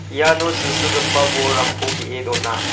iano silsilgipa bolrangko ge·e dona.